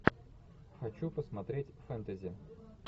хочу посмотреть фэнтези